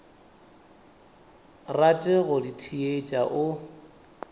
rate go di theetša o